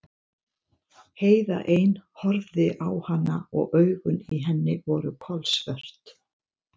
Heiða ein horfði á hana og augun í henni voru kolsvört.